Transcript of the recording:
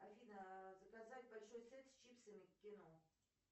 афина заказать большой сет с чипсами к кино